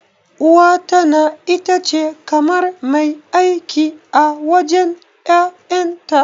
Uwa tana itace kamar mai aiki a wajen ƴaƴanta.